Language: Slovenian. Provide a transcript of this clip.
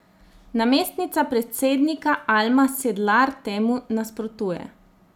Namestnica predsednika Alma Sedlar temu nasprotuje.